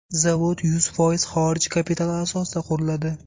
Zavod yuz foiz xorij kapitali asosida quriladi.